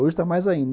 Hoje está mais ainda.